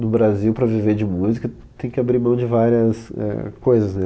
No Brasil, para viver de música, tem que abrir mão de várias é coisas, né?